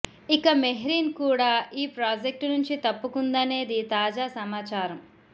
ఇక మెహ్రీన్ కూడా ఈ ప్రాజెక్టు నుంచి తప్పుకుందనేది తాజా సమాచారం